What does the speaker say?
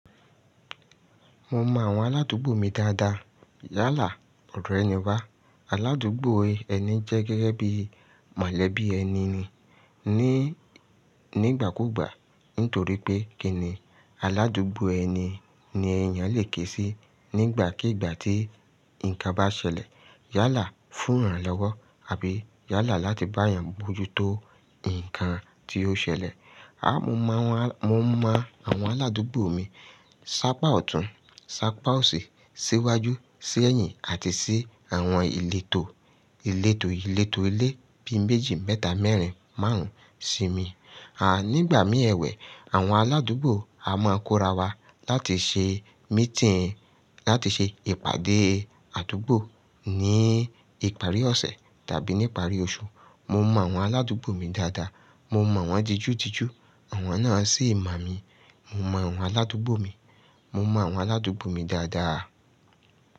Mo mọ àwọn aládùúgbò mi dáadáa. Yálà, ọrẹ níwà, aládùúgbò ẹni jẹ́ gẹ́gẹ́ bí mọ̀lẹ́bí ẹni ni. Ni, nígbà kúgbà nítorí pé kíni aládùúgbò ẹni ni èèyàn lè kési nígbàkigbà tí nǹkan bá ṣẹlẹ̀. Yálà fún ìrànlọ́wọ́ àbí yálà láti bá èèyàn bojútó nǹkan tí ó ṣẹlẹ̀. À, mọ àwọn á, mo mọ àwọn aládùúgbò mi sápà ọ̀tún, sápà òsì, síwájú, sí ẹ̀yìn àti sí àwọn ìletò, ìletò ìletò ilé bíi méjì, mẹ́ta, mẹ́rin, márùn-ún, ṣí mi. À, nígbà mí èwẹ̀, àwọn aládùúgbò a máa ń kóra wa láti ṣe meeting, láti ṣe ìpàdé àdúgbò ní ìparí ọ̀sẹ̀ tàbí ní ìparí oṣù. Mo mọ àwọn aládùúgbò mi dáadáa. Mo mọ̀ wọ́n jijú jijú. Àwọn náà sì mọ̀ mí. Mo mọ àwọn aládùúgbò mi. Mo mọ àwọn aládùúgbò mi dáadáa.